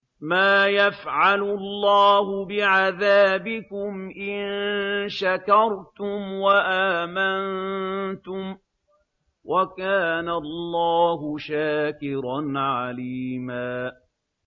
مَّا يَفْعَلُ اللَّهُ بِعَذَابِكُمْ إِن شَكَرْتُمْ وَآمَنتُمْ ۚ وَكَانَ اللَّهُ شَاكِرًا عَلِيمًا